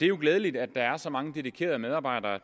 jo glædeligt at der er så mange dedikerede medarbejdere